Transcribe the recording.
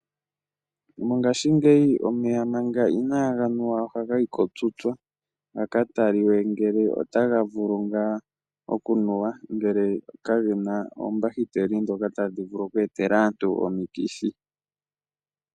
Mongaashingeyi omeya manga inaaga nuwa ohaga yi kotutsa ga ka tali we ngele otaga vulu ngaa okunuwa, ngele kagena oombahiteli ndhoka tadhi vulu okweetela aantu omikithi.